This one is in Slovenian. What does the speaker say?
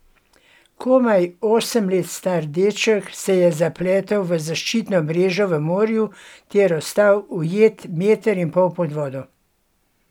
Komaj osem let star deček se je zapletel v zaščitno mrežo v morju ter ostal ujet meter in pol pod vodo.